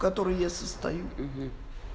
которой я состою